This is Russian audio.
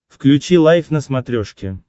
включи лайф на смотрешке